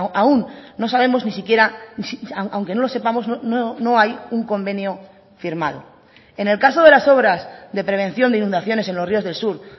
aún no sabemos ni siquiera aunque no lo sepamos no hay un convenio firmado en el caso de las obras de prevención de inundaciones en los ríos del sur